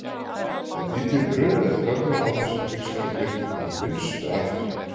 En bíllinn brunaði framhjá án þess að bílstjórinn veitti honum minnstu athygli.